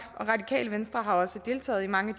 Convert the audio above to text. og radikale venstre har også deltaget i mange